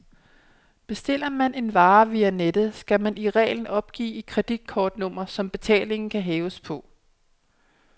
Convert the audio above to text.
Bestiller man en vare via nettet, skal man i reglen opgive et kreditkortnummer, som betalingen kan hæves på.